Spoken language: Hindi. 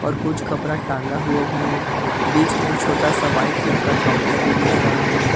और कुछ कपड़ा टांगा हुआ भी है बीच में एक छोटा सा व्हाइट कलर का काउंटर भी दिख रहा है।